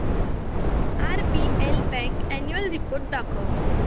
RBL bank annual report दाखव